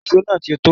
Ìṣó náà ti tó